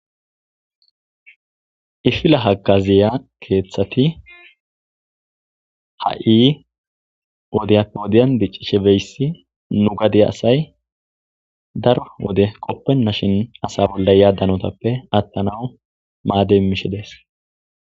Ifila haggaziya keeththati ha7i wodiyappe wodiyan diccishe beyssi nu gade asay daro wode qoppenna shin asa bolla yaaddanotappe attanawu maadey mishidees.